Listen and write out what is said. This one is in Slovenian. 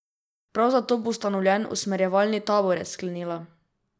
Prav zato bo ustanovljen usmerjevalni odbor, je sklenila.